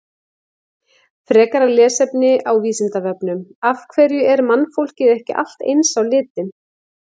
Frekara lesefni á Vísindavefnum: Af hverju er mannfólkið ekki allt eins á litinn?